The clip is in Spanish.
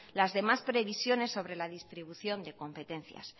las demás previsiones sobre la distribución de competencias